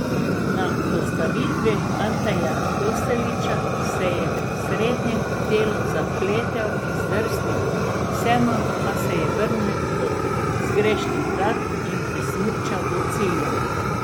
Na postavitvi Anteja Kostelića se je v srednjem delu zapletel in zdrsnil, vseeno pa se vrnil do zgrešenih vrat in prismučal do cilja.